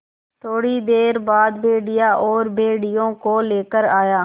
थोड़ी देर बाद भेड़िया और भेड़ियों को लेकर आया